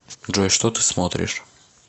джой что ты смотришь